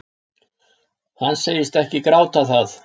Hann segist ekki gráta það